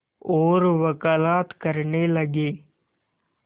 और वक़ालत करने लगे